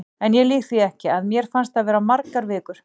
En ég lýg því ekki, að mér fannst það vera margar vikur.